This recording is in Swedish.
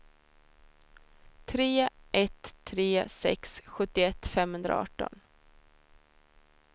tre ett tre sex sjuttioett femhundraarton